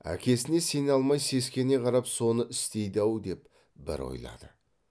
әкесіне сене алмай сескене қарап соны істейді ау деп бір ойлады